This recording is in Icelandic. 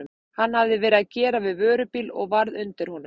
Hann hafði verið að gera við vörubíl og varð undir honum.